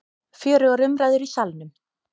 Fjörugur umræður í Salnum